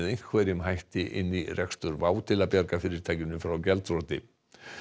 einhverjum hætti inn í rekstur WOW air til að bjarga fyrirtækinu frá gjaldþroti